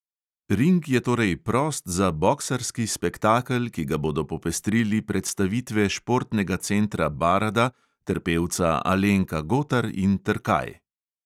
Ring je torej prost za boksarski spektakel, ki ga bodo popestrili predstavitve športnega centra barada ter pevca alenka gotar in trkaj.